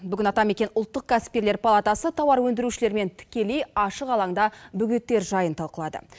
бүгін атамекен ұлттық кәсіпкерлер палатасы тауар өндірушілермен тікелей ашық алаңда бөгеттер жайын талқылады